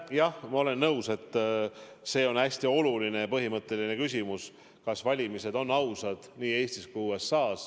Jah, ma olen nõus, et see on hästi oluline ja põhimõtteline küsimus, kas valimised on ausad nii Eestis kui USA-s.